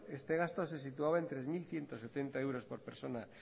este gasto se situaba en tres mil ciento setenta euros por persona